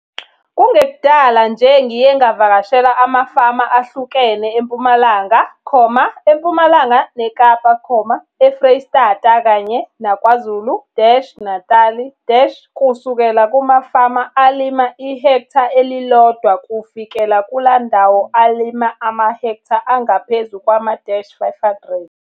Kungekudala nje ngiye ngavakashela amafama ahlukene eMpumalanga, eMpumalanga neKapa, eFreystata kanye naKwaZulu-Natali - kusukela kumafama alima ihektha elilodwa kufikela kulawo alima amahektha angaphezu kwama-500.